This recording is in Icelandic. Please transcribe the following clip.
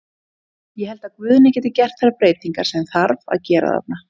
Ég held að Guðni geti gert þær breytingar sem þarf að gera þarna.